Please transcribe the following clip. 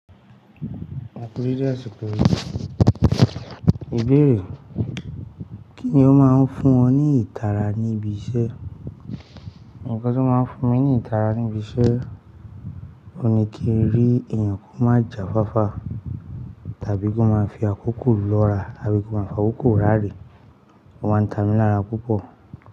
E ku dede àsìkò yìí. Ìbéèrè? Kíni ó máa ń fún ọ ní ìtara ní ibi iṣẹ́? Ǹkan tí ó máa ń fún mi ní ìtara ní ibi iṣẹ́, òní kíi rí èèyàn kó má jà fáfá tàbí kó máa fi àkókò lóora, tàbí kó máa fi àkókò rárẹ̀. Ó máa ń tà mí lára púpọ̀